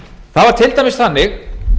það var til dæmis þannig